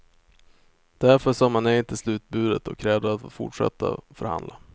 Därför sa man nej till slutbudet och krävde att få fortsätta förhandla.